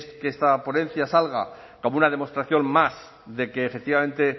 que esta ponencia salga como una demostración más de que efectivamente